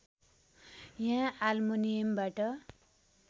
या आल्मुनियमबाट